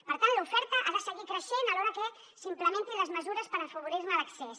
per tant l’oferta ha de seguir creixent alhora que s’implementin les mesures per afavorir hi l’accés